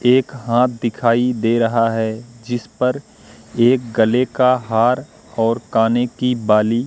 एक हाथ दिखाई दे रहा है जिस पर एक गले का हार और काने की बाली--